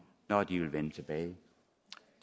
når de vil vende tilbage